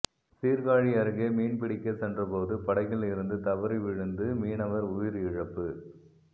சீர்காழி அருகே மீன்பிடிக்கச் சென்ற போது படகில் இருந்து தவறி விழுந்து மீனவர் உயிரிழப்பு